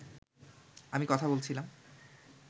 আমি কথা বলছিলাম